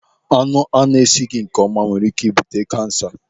Anụ ana-esighị nkeọma nwere ike ị bute kansa.